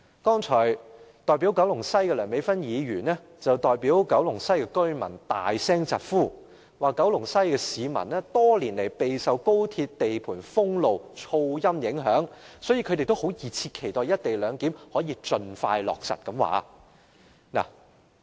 代表九龍西的梁美芬議員剛才代表九龍西居民大聲疾呼，指九龍西的市民多年來備受高鐵地盤封路及噪音影響，所以他們也熱切期待"一地兩檢"可以盡快落實。